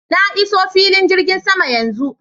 Na iso filin jirgin saman yanzu.